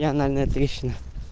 и анальная трещина